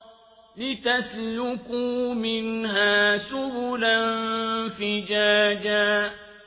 لِّتَسْلُكُوا مِنْهَا سُبُلًا فِجَاجًا